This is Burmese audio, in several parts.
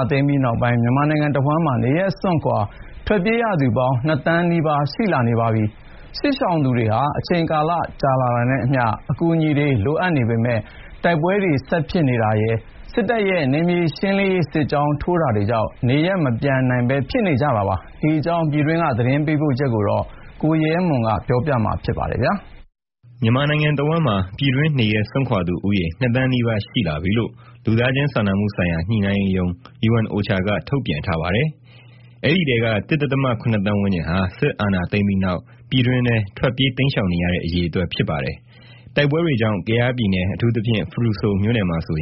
ာသိမ်းပြီးနောက်ပိုင်း နေရပ်စွန့်ခွာ ထွက်ပြေးနေရသူပေါင်းက ၁ ဒဿမ ၇ သန်းနီးပါး ရှိလာပါပြီ။ စစ်ရှောင်သူတွေဟာ အချိန်ကာလ ကြာလာတာနဲ့အမျှ အကူအညီတွေ လိုအပ်နေပေမယ့် တိုက်ပွဲတွေ ဆက်ဖြစ်ပွါးနေတာနဲ့ စစ်တပ်ရဲ့ နယ်မြေရှင်းလင်းမှုတွေ စစ်ကြောင်းထိုးမှုတွေကြောင့် နေအိမ်မပြန်နိုင်ပဲ ဖြစ်နေကြတာပါ။ ဒီအကြောင်း သတင်းပေးပို့ချက်ကို ကိုရဲမွန် ပြောပြမှာပါ။ မြန်မာနိုင်ငံတဝန်းမှာ ပြည်တွင်းနေရပ် စွန့်ခွာသူဦးရေ ၂ သန်းနီးပါး ရှိလာပြီလို့ လူသားချင်းစာနာမှုဆိုင်ရာ ညှိနှိုင်းရေးရုံး UNOCHA က ထုတ်ပြန်ထားပါတယ်။ အဲဒီထဲက ၁ ဒဿမ ၇ သန်းဝန်းကျင်ဟာ စစ်အာဏာသိမ်းပြီးနောက် ပြည်တွင်းထဲ ထွက်ပြေးတိမ်းရှောင်နေတဲ့ အရေအတွက် ဖြစ်ပါတယ်။ တိုက်ပွဲတွေကြောင့် ကယားပြည်နယ် အထူးသဖြင့် ဖရူဆိုမြို့နယ်မှာဆို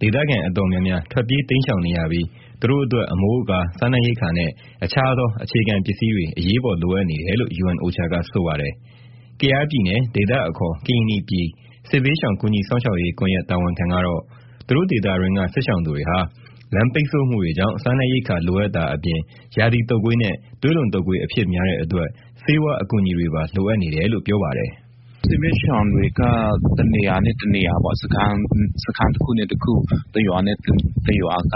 ဒေသခံအတော်များများ ထွက်ပြေးတိမ်းရှောင်နေရပြီး သူတို့အတွက် အမိုးအကာ၊ စားနပ်ရိက္ခာနဲ့ တခြားသော အခြေခံပစ္စည်းတွေ အရေးပေါ် လိုအပ်နေတယ်လို့ UNOCHA က ဆိုပါတယ်။ ကယားပြည်နယ် ဒေသအခေါ် ကရင်နီပြည် စစ်ဘေးရှောင် ကူညီစောင့်ရှောက်ရေး ကွန်ရက်တာဝန်ခံကတော့ သူတို့ဒေသတွင်းက စစ်ရှောင်သူတွေဟာ လမ်းပိတ်ဆို့မှုတွေကြောင့် စားနပ်ရိက္ခာလိုအပ်တာအပြင် ရာသီတုပ်ကွေးနဲ့ သွေးလွန်တုပ်ကွေး အဖြစ်များတဲ့ အတွက် ဆေးဝါးအကူညီတွေပါ လိုအပ်နေတယ်လို့ ပြောပါတယ်။ "စစ်ဘေးရှောင်တွေက တနေရာနဲ့ တနေရာ၊ စခန်းတခုနဲ့ တခု၊ တရွာနဲ့ တရွာက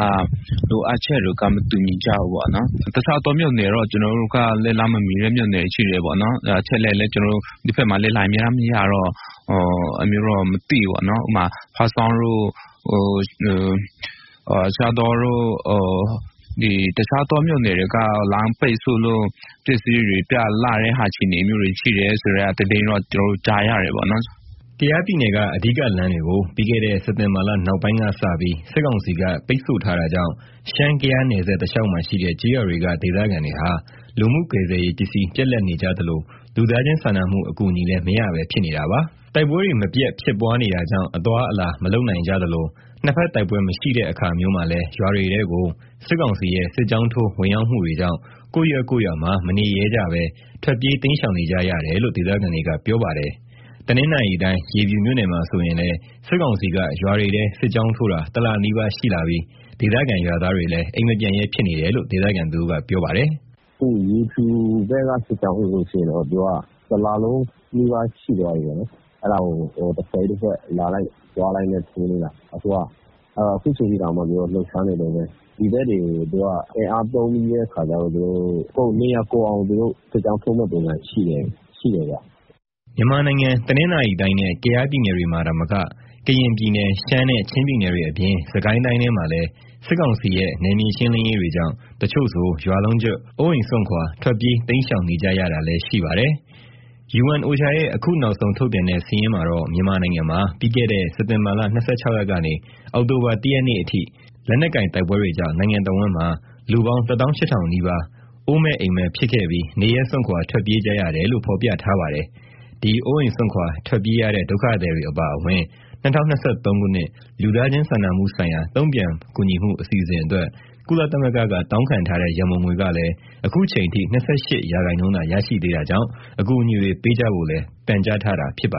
လိုအပ်ချက်တွေက မတူညီကြဘူးပေါ့နော်။ တခြားသော မြို့နယ်တွေက ကျနော်တို့ဘက်က လက်လှမ်းမမီတာ ရှိတယ်ပေါ့နော်။ အချက်အလက်တွေလည်း ဒီဘက်မှာက လိုင်းအမြဲတမ်း မရတော့ မသိဘူးပေါ့နော်။ ဥပမာ ဖားဆောင်းတို့ ရှားတောတို့ တခြားသော မြို့နယ်တွေက လမ်းပိတ်ဆို့လို့ ပစ္စည်းတွေပြတ်လပ်တဲ့ အခြေအနေမျိုးတွေ ရှိတယ်ဆိုတဲ့ သတင်းတော့ ကျနော်တို့ ကြားရတယ်ပေါ့နော်။" ကယားပြည်နယ်က အဓိကလမ်းတွေကို ပြီးခဲ့တဲ့ စက်တင်ဘာလ နောက်ပိုင်းကစပြီး စစ်ကောင်စီက ပိတ်ဆို့ထားတာကြောင့် ရှမ်း-ကယားနယ်စပ် တလျှောက်မှာရှိတဲ့ ကျေးရွာတွေက ဒေသခံတွေဟာ လူမှုကယ်ဆယ်ရေး ပစ္စည်းပြတ်လပ်နေကြသလို၊ လူသားချင်းစာနာမှု အကူအညီလည်း မရပဲ ဖြစ်နေတာပါ။ တိုက်ပွဲတွေ မပြတ်ဖြစ်ပွါးနေတာကြောင့် အသွားအလာ မလုပ်နိုင်ကြသလို နှစ်ဖက်တိုက်ပွဲမရှိ တဲ့အခါမျိုးမှာလည်း ရွာတွေထဲကို စစ်ကောင်စီရဲ့ စစ်ကြောင်းထိုးဝင်ရောက် မှုတွေကြောင့် ကိုယ်ရပ်ကိုယ့်ရွာမှာ မနေရဲကြပဲ ထွက်ပြေးတိမ်းရှောင်ကြရတယ်လို့ ဒေသခံတွေက ပြောပါတယ်။ တနင်္သာရီတိုင်း၊ ရေဖြူမြို့နယ်မှာ ဆိုရင်လည်း စစ်ကောင်စီက ရွာတွေထဲ စစ်ကြောင်းထိုးတာ တလနီးပါး ရှိလာပြီး၊ ဒေသခံ ရွာသားတွေလည်း အိမ်မပြန်ရဲဖြစ်နေတယ်လို့ ဒေသခံတဦးက ပြောပါတယ်။ "အခု ရေဖြူဘက်က စစ်ကြောင်းဆိုရင် သူက တလလုံးနီးပါး ရှိသွားပြီပေါ့နော်။ အဲဒါကို တဖွဲ့ပြီးတဖွဲ့ လာလိုက်သွားလိုက်နဲ့ အခုချိန်ထိ သူကလှုပ်ရှားနေတုန်းပဲ။ ဒီဘက်တွေကို သူတို့အင်အားသုံးပြီးတော့ နေရာကုန်အောင် စစ်ကြောင်းထိုးမယ့် ပုံစံရှိတယ်ဗျ။" မြန်မာနိုင်ငံ တနင်္သာရီတိုင်းနဲ့ ကယားပြည်နယ်တွေမှာသာမက ကရင်ပြည်နယ်၊ ရှမ်း နဲ့ ချင်းပြည်နယ်တွေ အပြင် စစ်ကိုင်း တိုင်းထဲမှာလည်း စစ်ကောင်စီရဲ့ နယ်မြေရှင်းလင်းရေး တွေကြောင့် တချို့ဆို ရွာလုံးကျွတ် အိုးအိမ်စွန့်ခွါ ထွက်ပြေး တိမ်းရှောင် နေကြရတာလည်း ရှိပါတယ်။ UNOCHA ရဲ့ အခု နောက်ဆုံးထုတ်ပြန်တဲ့ စာရင်းမှာတော့ မြန်မာနိုင်ငံမှာ ပြီးခဲ့တဲ့ စက်တင်ဘာ ၂၆ ရက်ကနေ အောက်တိုဘာ ၁ ရက်နေ့အထိ လက်နက်ကိုင် တိုက်ပွဲတွေကြောင့် နိုင်ငံတဝန်းမှာ လူပေါင်း ၁၈,၀၀၀ နီးပါး အိုးမဲ့အိမ်မဲ့ ဖြစ်ခဲ့ပြီး၊ နေရပ်စွန့်ခွာ ထွက်ပြေးကြရတယ်လို့ ဖေါ်ပြထားပါတယ်။ ဒီအိုးအိမ်စွန့်ခွါ ထွက်ပြေးရတဲ့ ဒုက္ခသည်တွေအပါအဝင် ၂၀၂၃ ခုနှစ် လူသားချင်း စာနာမှုဆိုင်ရာ တုံ့ပြန်ကူညီမှု အစီအစဉ်အတွက် ကုလသမဂ္ဂက တောင်းခံထားတဲ့ ရန်ပုံငွေကလည်း အခုချိန်အထိ ၂၈ ရာခိုင်နှုန်းသာ ရရှိသေးတာ ကြောင့် အကူအညီတွေ ပေးကြဖို့လည်း ပန်ကြားထားတာပါ